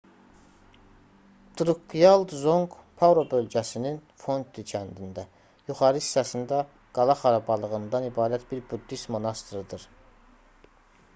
drukqyal dzonq paro bölgəsinin fondi kəndində yuxarı hissəsində qala xarabalığından ibarət bir buddist monastırıdır